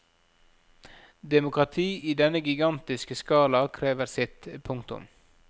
Demokrati i denne gigantiske skala krever sitt. punktum